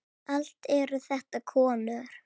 Allt eru þetta konur.